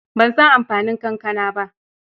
Ban san amfanin kankana ba.